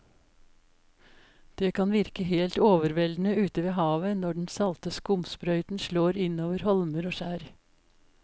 Det kan virke helt overveldende ute ved havet når den salte skumsprøyten slår innover holmer og skjær.